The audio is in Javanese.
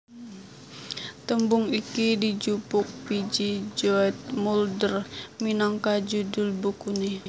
Tembung iki dijupuk P J Zoetmulder minangka judhul bukuné